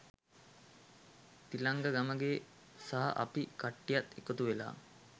තිලංක ගමගේ සහ අපි කට්ටියක් එකතු වෙලා